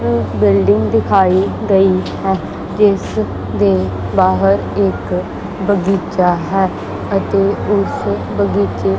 ਇਹ ਬਿਲਡਿੰਗ ਦਿਖਾਈ ਗਈ ਹੈ ਜਿਸ ਦੇ ਬਾਹਰ ਇੱਕ ਬਗੀਚਾ ਹੈ ਅਤੇ ਉਸ ਬਗੀਚੇ--